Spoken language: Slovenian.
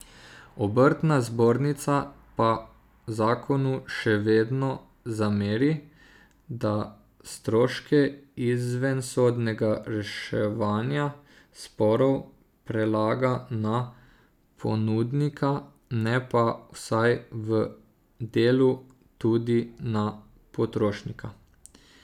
Obrtna zbornica pa zakonu še vedno zameri, da stroške izvensodnega reševanja sporov prelaga na ponudnika, ne pa vsaj v delu tudi na potrošnika.